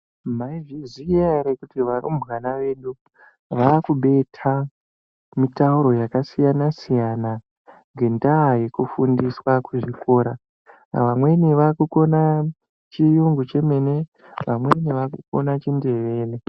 Maizviziya ere kuti varumbwana vedu vaakubetha mitauro yakasiyana -siyana, ngendaa Yekufundiswa kuzvikora. Vamweni vakukona chiyungu chemene vamweni vakukona chindevere.